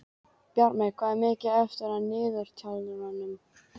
Bjartmey, hvað er mikið eftir af niðurteljaranum?